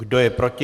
Kdo je proti?